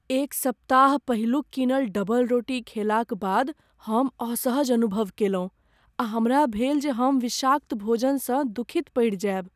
एक सप्ताह पहिलुक कीनल डबलरोटी खयलाक बाद हम असहज अनुभव कयलहुँ आ हमरा भेल जे हम विषाक्त भोजनसँ दुखित पड़ि जायब।